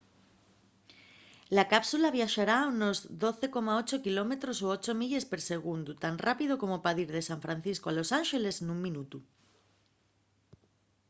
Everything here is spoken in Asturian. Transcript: la cápsula viaxará a unos 12,8 km o 8 milles per segundu tan rápido como pa dir de san francisco a los ánxeles nun minutu